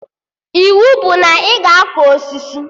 Iwu bụ na ị ga akọ osisi!